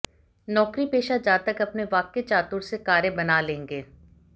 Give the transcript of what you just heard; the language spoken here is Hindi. नौकरीपेशा जातक अपने वाक्य चातुर से कार्य बना लेंगे